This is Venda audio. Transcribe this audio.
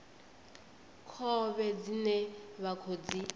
khovhe dzine vha khou dzi